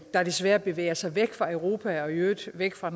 der desværre bevæger sig væk fra europa og i øvrigt væk fra